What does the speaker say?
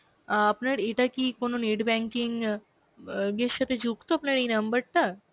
অ্যাঁ আপনার এটা কি কোন net banking অ্যাঁ ইয়ের সাথে যুক্ত আপনার এই numberটা?